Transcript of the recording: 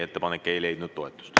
Ettepanek ei leidnud toetust.